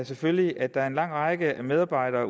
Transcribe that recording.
selvfølgelig at der er en lang række medarbejdere